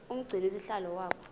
umgcini sihlalo waba